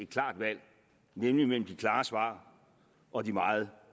klart valg nemlig mellem de klare svar og de meget